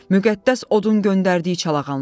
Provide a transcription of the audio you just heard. Müqəddəs odun göndərdiyi çalağanlar.